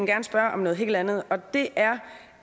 gerne spørge om noget helt andet og det er